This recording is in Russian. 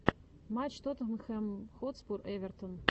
матч тоттенхэм хотспур эвертон